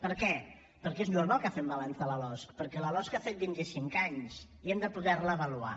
per què perquè és normal que fem balanç de la losc perquè la losc ha fet vint i cinc anys i hem de poder la avaluar